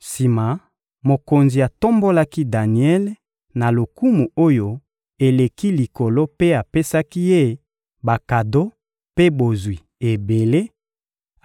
Sima, mokonzi atombolaki Daniele na lokumu oyo eleki likolo mpe apesaki ye bakado mpe bozwi ebele;